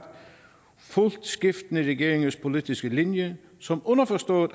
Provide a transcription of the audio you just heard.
fulgt skiftende regeringers politiske linje som underforstået